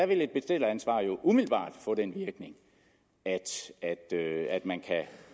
ville et bestilleransvar jo umiddelbart få den virkning at man